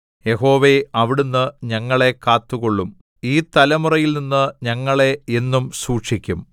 യഹോവേ അവിടുന്ന് ഞങ്ങളെ കാത്തുകൊള്ളും ഈ തലമുറയിൽനിന്ന് ഞങ്ങളെ എന്നും സൂക്ഷിക്കും